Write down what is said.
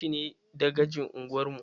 Baban shi ne dagacin unguwar mu